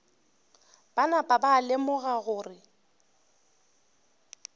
ba napa ba lemoga gore